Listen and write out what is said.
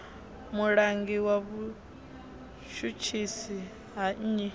mulangi wa vhutshutshisi ha nnyi